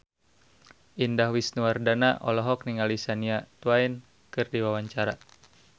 Indah Wisnuwardana olohok ningali Shania Twain keur diwawancara